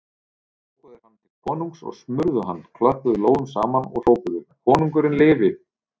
Tóku þeir hann til konungs og smurðu hann, klöppuðu lófum saman og hrópuðu: Konungurinn lifi!